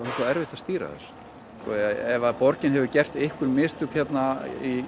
svo erfitt að stýra þessu ef að borgin hefur gert einhver mistök hérna